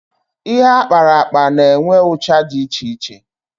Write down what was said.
Ihe akparakpa na-enwe ụcha dị iche iche